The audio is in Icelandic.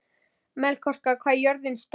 Melkíor, hvað er jörðin stór?